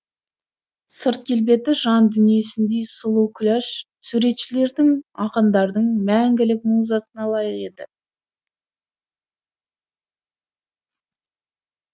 сырт келбеті жан дүниесіндей сұлу күләш суретшілердің ақындардың мәңгілік музасына лайық еді